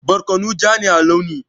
Tattasai ja ne a launi.